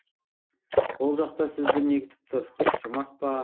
ол жақта сізді не күтіп тұр жұмақ па